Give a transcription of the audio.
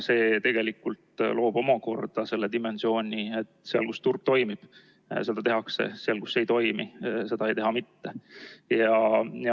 See tegelikult loob omakorda dimensiooni, et seal, kus turg toimib, seda tehakse, seal, kus ei toimi, ei tehta seda mitte.